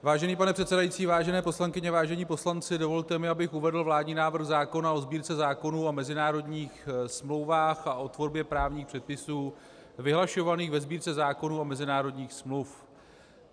Vážený pane předsedající, vážené poslankyně, vážení poslanci, dovolte mi, abych uvedl vládní návrh zákona o Sbírce zákonů a mezinárodních smluv a o tvorbě právních předpisů vyhlašovaných ve Sbírce zákonů a mezinárodních smluv.